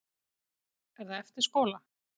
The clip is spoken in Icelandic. Er það eftir skóla?